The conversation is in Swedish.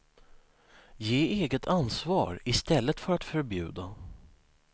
Ge eget ansvar i stället för att förbjuda.